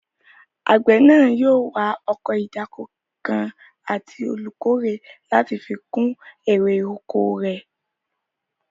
Àgbẹ̀ náà yóò wá ọkọ̀ ìdáko kan àti olùkórè láti fi kún èrè oko rẹ̀